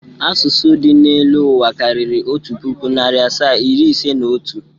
Asụsụ dị n'elu ụwa karịrị otu pụkụ, narị asaa, iri ise na otu.